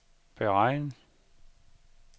beregn